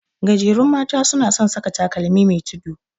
Gajerun mata suna son saka takalmi me tudu.